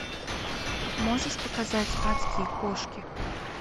можешь показать адские кошки